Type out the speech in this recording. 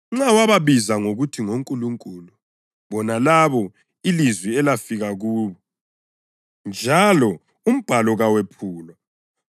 Nxa wababiza ngokuthi ‘ngonkulunkulu,’ bona labo ilizwi elafika kubo, njalo uMbhalo kawephulwa